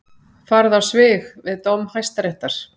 Farið á svig við dóm Hæstaréttar